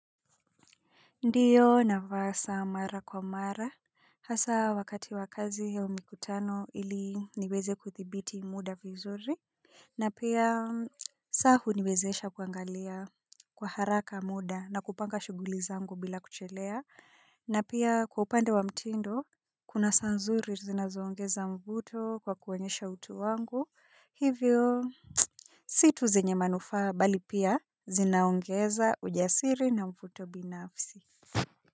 Ndiyo nafasa mara kwa mara hasa wakati wakazi au mikutano ili niweze kuthibiti muda vizuri. Na pia sa huniwezesha kuangalia kwa haraka muda na kupanga shuguli zangu bila kuchelea. Na pia kwa upande wa mtindo kuna sa nzuri zinazoongeza mvuto kwa kuwonyesha utu wangu hivyo. Situ zenye manufa bali pia zinaongeza ujasiri na mvuto binafsi.